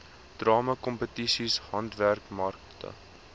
drama kompetisies handwerkmarkte